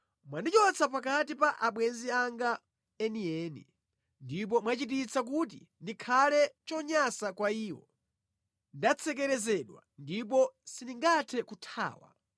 Mwandichotsa pakati pa abwenzi anga enieni ndipo mwachititsa kuti ndikhale chonyansa kwa iwo. Ndatsekerezedwa ndipo sindingathe kuthawa;